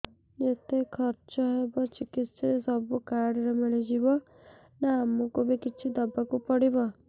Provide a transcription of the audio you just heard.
ଯେତେ ଖର୍ଚ ହେବ ଚିକିତ୍ସା ରେ ସବୁ କାର୍ଡ ରେ ମିଳିଯିବ ନା ଆମକୁ ବି କିଛି ଦବାକୁ ପଡିବ